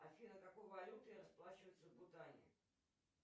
афина какой валютой расплачиваются в бутане